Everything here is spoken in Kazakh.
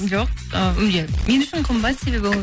жоқ і иә мен үшін қымбат себебі ол